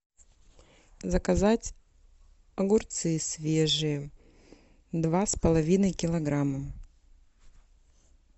заказать огурцы свежие два с половиной килограмма